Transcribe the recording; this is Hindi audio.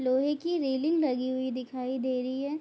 लोहे की रेलिंग लगी हुई दिखाई दे रही है।